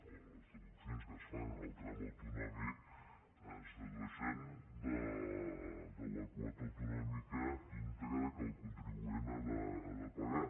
o les deduccions que es fan en el tram au·tonòmic es dedueixen de la quota autonòmica íntegra que el contribuent ha de pagar